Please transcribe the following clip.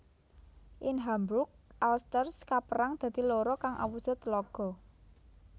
Ing Hamburg Alster kapérang dadi loro kang awujud tlaga